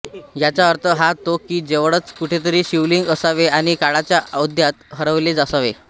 याचा अर्थ हा होतो की जवळच कुठेतरी शिवलिंग असावे आणि काळाच्या ओघात हरवले असावे